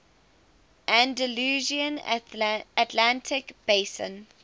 andalusian atlantic basin